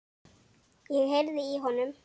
Ég heyrði í honum!